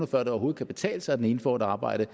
før det overhovedet kan betale sig at den ene får et arbejde